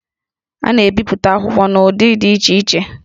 A na-ebipụta akwụkwọ n'ụdị dị iche iche